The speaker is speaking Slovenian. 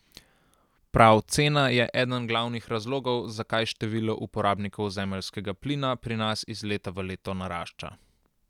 Prav cena je eden glavnih razlogov, zakaj število uporabnikov zemeljskega plina pri nas iz leta v leto narašča.